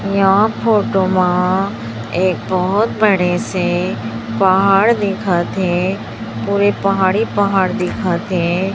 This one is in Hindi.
ए हा फोटो मा एक बहोत बड़े से पहाड़ दिखथे पूरे पहाड़ ही पहाड़ दिखथे।